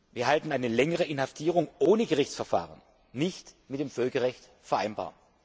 Wir halten eine längere Inhaftierung ohne Gerichtsverfahren nicht mit dem Völkerrecht vereinbar.